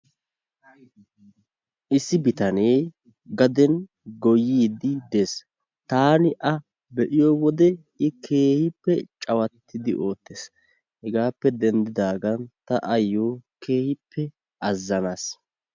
Issi bitanee gaden goyyiyidi des. Taani a be'iyo wode i keehippe cawattiidi oottees. Hegaappe denddidaagan ta ayyo keehippe azanaas.